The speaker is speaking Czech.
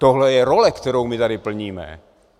Tohle je role, kterou my tady plníme.